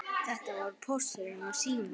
Þetta voru Póstur og Sími.